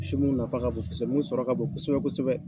Sugu nafa ka bon kosɛbɛ sɔrɔ ka bon kosɛbɛ kosɛbɛ.